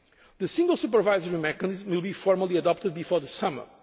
Directive. The single supervisory mechanism will be formally adopted before